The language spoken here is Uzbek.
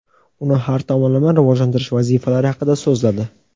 uni har tomonlama rivojlantirish vazifalari haqida so‘zladi.